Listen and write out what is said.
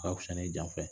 A ka fusa ni jan ye